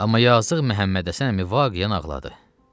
Amma yazıq Məhəmmədhəsən əmi vaqiyən ağladı.